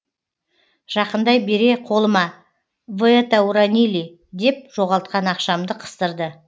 жақындай бере қолыма вы это уронили деп жоғалтқан ақшамды қыстырды